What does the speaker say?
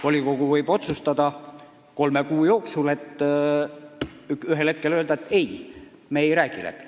Volikogu võib kolme kuu jooksul otsustada, et me ikkagi ei hakka läbi rääkima.